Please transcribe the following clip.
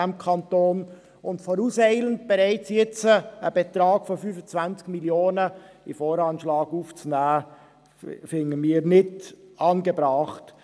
Bereits jetzt vorauseilend einen Betrag von 25 Mio. Franken in den VA aufzunehmen finden wir nicht angebracht.